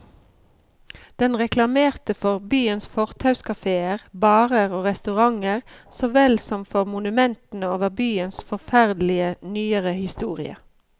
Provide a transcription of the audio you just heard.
Den reklamerte for byens fortauskaféer, barer og restauranter så vel som for monumentene over byens forferdelige, nyere historie.